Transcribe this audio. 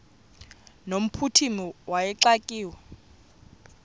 no mphuthumi wayexakiwe